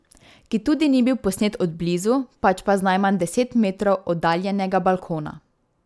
Ki tudi ni bil posnet od blizu, pač pa z najmanj deset metrov oddaljenega balkona.